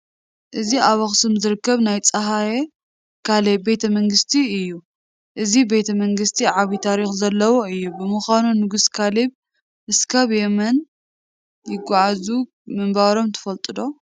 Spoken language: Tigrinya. እዚ ኣብ ኣኽሱም ዝርከብ ናይ ሃፀይ ካሌብ ቤተ መንግስቲ እዩ፡፡ እዚ ቤተ መንግስቲ ዓብዪ ታሪክ ዘለዎ እዩ፡፡ ንምዃኑ ንጉስ ካሌብ እስካብ የመን ይገዝኡ ምንባሮም ትፈልጡ ዶ?